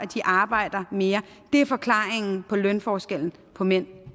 de arbejder mere det er forklaringen på lønforskellen på mænd